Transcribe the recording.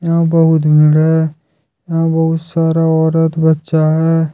यहां बहुत भीड़ है यहां बहुत सारा औरत बच्चा है।